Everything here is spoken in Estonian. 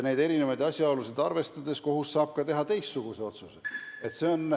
Neid asjaolusid arvestades saab kohus teha ka teistsuguse otsuse.